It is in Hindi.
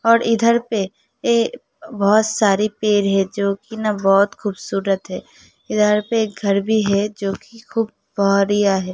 और इधर पे ए बहोत सारी पेर है जोकि न बोहोत खूबसूरत है। इधर पे एक घर भी है जोकि खूब है।